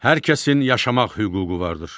Hər kəsin yaşamaq hüququ vardır.